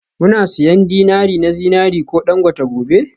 Muna siyan dinari na zinariya ko dangote gobe?